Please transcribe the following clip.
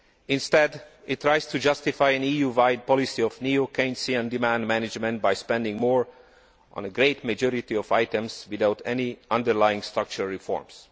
Instead, it tries to justify an EU wide policy of neo Keynesian demand management by spending more on a great majority of items without any underlying structural reforms.